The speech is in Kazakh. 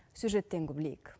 сюжеттен білейік